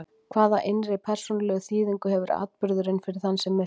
Hvaða innri persónulegu þýðingu hefur atburðurinn fyrir þann sem missir?